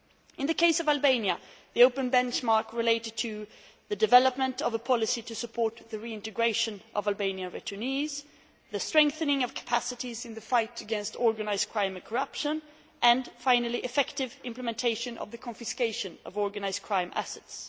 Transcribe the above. In the case of Albania, the open benchmark related to the development of a policy to support the reintegration of Albanian returnees, the strengthening of capacities in the fight against organised crime and corruption and, finally, effective implementation of the confiscation of organised crime assets.